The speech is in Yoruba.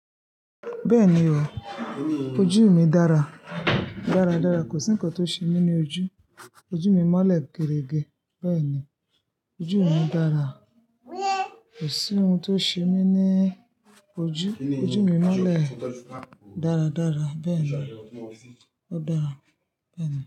Bẹ́ẹ̀ni o, ojú mi dára, dára, dára. Kò sí ǹkan tó ṣe mí ní ojú. Ojú mi mọ́lẹ̀ gerége. Bẹ́ẹ̀ni, ojú mi dára. Kò sí ohun tó ṣe mí ní ojú. Ojú mi mọ́lẹ̀ dára, dára. Bẹ́ẹ̀ni, ó dára. Bẹ́ẹ̀ni.